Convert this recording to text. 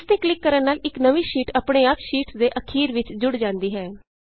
ਇਸ ਤੇ ਕਲਿਕ ਕਰਨ ਨਾਲ ਇਕ ਨਵੀਂ ਸ਼ੀਟ ਅਪਨੇ ਆਪ ਸ਼ੀਟਸ ਦੇ ਅਖੀਰ ਵਿਚ ਜੁੜ ਜਾਂਦੀ ਹੈ